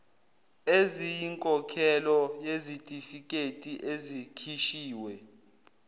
eziyinkokhelo yezitifiketi ezikhishiwe